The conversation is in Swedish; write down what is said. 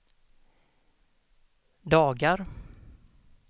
dagar